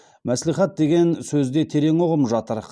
мәслихат деген сөзде терең ұғым жатыр